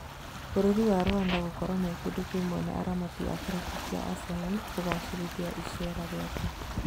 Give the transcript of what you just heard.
Bũrũri wa Rwanda gũkorwo mekĩndũ kĩmwe na aaramati a kĩrabu kĩa Arsenal kũgacĩrithia icera rĩake